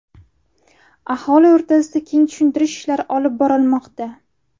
Aholi o‘rtasida keng tushuntirish ishlari olib borilmoqda.